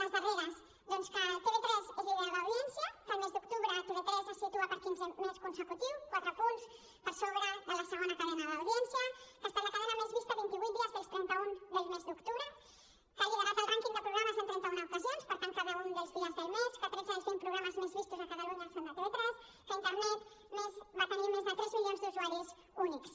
les darreres doncs que tv3 és líder d’audiència que el mes d’octubre tv3 es situa per quinzè mes consecutiu quatre punts per sobre de la segona cadena d’audiència que ha estat la cadena més vista vint i vuit dies dels trenta un del mes d’octubre que ha liderat el rànquing de programes en trenta una ocasions per tant cada un dels dies del mes que tretze dels vint programes més vistos a catalunya són de tv3 que a internet va tenir més de tres milions d’usuaris únics